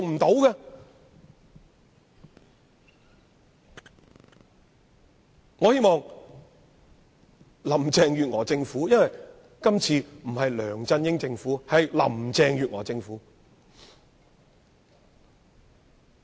現屆政府不再是梁振英政府，而是林鄭月娥政府。